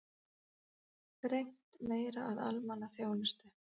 Þrengt meira að almannaþjónustu